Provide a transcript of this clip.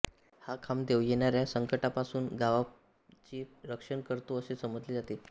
हा खांबदेव येणाऱ्या संकटांपासून गावाचे रक्षण करतो असे समजले जाते